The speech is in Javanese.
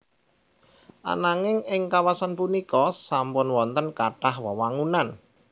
Ananging ing kawasan punika sampun wonten kathah wewangunan